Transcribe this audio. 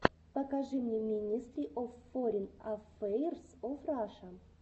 покажи мне минестри оф форин аффэйрс оф раша